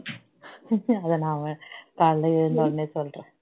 அதை நாம காலையில எழுந்துடனே சொல்றேன்